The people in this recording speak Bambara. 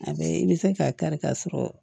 A bɛ i bɛ se k'a kari ka sɔrɔ